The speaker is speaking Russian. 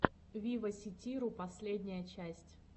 виваситиру последняя часть